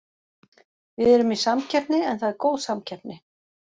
Við erum í samkeppni en það er góð samkeppni.